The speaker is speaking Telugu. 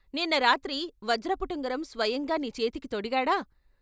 నిన్నరాత్రి వజ్రపు టుంగరం స్వయంగా నీ చేతికి తొడిగాడా!